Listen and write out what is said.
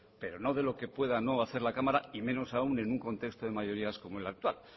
pero no de lo que puede no hacer la cámara y menos aun en un contexto de mayorías como es el actual